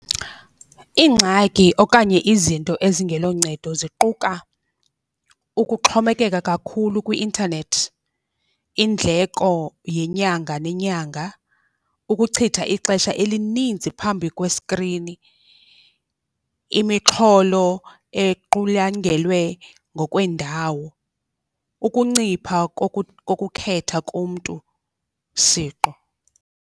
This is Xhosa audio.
Iingxaki okanye izinto ezingelo ncedo ziquka ukuxhomekeka kakhulu kwi-intanethi, indleko yenyanga nenyanga, ukuchitha ixesha elininzi phambi kwesikrini, imixholo equlangelwe ngokweendawo, ukuncipha kokukhetha komntu siqu.